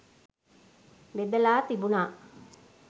බෙදලා තිබුණා.